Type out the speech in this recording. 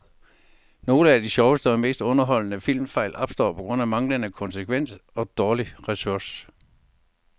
Nogle af de sjoveste og mest underholdende filmfejl opstår på grund af manglende konsekvens og dårlig research.